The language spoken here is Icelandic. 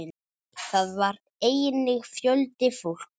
Þar var einnig fjöldi fólks.